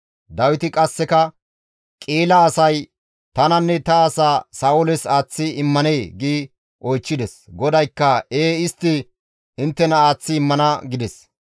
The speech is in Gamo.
Dawiti qasseka, «Qi7ila asay tananne ta asaa Sa7ooles aaththi immanee?» gi oychchides. GODAYKKA, «Ee istti inttena aaththi immana» gides.